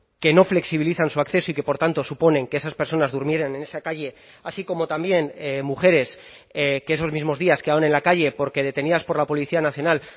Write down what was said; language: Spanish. que no flexibilizan su acceso y que por tanto suponen que esas personas durmieran en esa calle así como también mujeres que esos mismos días que aún en la calle porque detenidas por la policía nacional